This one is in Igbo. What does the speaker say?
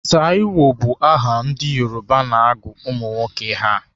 Taiwo bụ aha ndị Yoruba na-agụ ụmụnwoke ha.